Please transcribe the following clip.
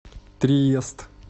триест